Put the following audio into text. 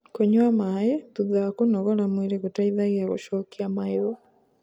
kũnyua maĩ thutha wa kũnogora mwĩrĩ gũteithagia gucokia mayu